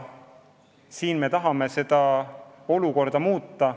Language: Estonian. Me tahame seda olukorda muuta.